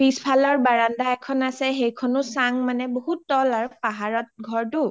পিছফালৰ ভাৰাণ্ডা এখন আছে সেইখনও চাং মানে বহুত ত’ল আৰু পাহাৰত ঘৰটো